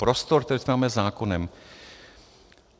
Prostor, který otevíráme zákonem.